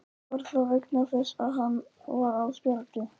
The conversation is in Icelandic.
Var það vegna þess að hann var á spjaldi?